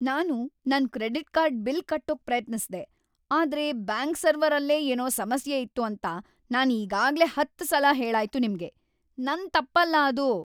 ನಾನು ನನ್ credit card bill ಕಟ್ಟೋಕ್ ಪ್ರಯತ್ನಿಸ್ದೆ, ಆದ್ರೆ ಬ್ಯಾಂಕ್ ಸರ್ವರಲ್ಲೇ ಏನೋ ಸಮಸ್ಯೆ ಇತ್ತು ಅಂತ ನಾನ್ ಈಗಾಗ್ಲೇ ಹತ್ತ್‌ ಸಲ ಹೇಳಾಯ್ತು ನಿಮ್ಗೆ. ನನ್ ತಪ್ಪಲ್ಲ ಅದು!